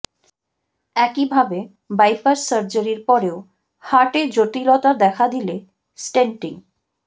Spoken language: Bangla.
একইভাবে বাইপাস সার্জারির পরেও হার্টে জটিলতা দেখা দিলে স্টেন্টিং